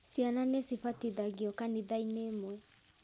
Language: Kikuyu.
Ciana nĩcibatithagio kanitha-inĩ imwe